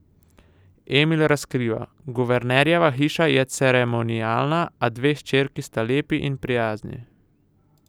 Emil razkriva: 'Guvernerjeva hiša je ceremonialna, a dve hčerki sta lepi in prijazni.